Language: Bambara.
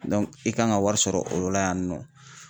i kan ka wari sɔrɔ o la yan nɔ.